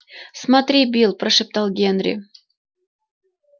смотри билл прошептал генри